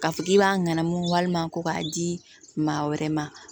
K'a fɔ k'i b'a ŋanamu walima ko k'a di maa wɛrɛ ma